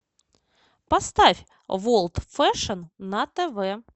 поставь ворлд фэшн на тв